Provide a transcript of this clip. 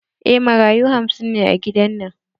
Eh, marayu hamsin ne a gidan.